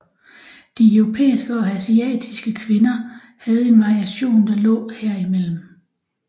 De europæiske og asiatiske kvinder havde en variation der lå herimellem